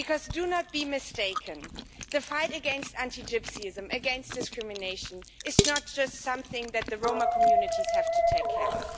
Do not be mistaken the fight against anti Gypsyism and against discrimination is not just something that the Roma communities have to take care of.